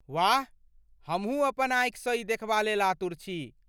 वाह! हमहुँ अपन आँखिसँ ई देखबा लेल आतुर छी।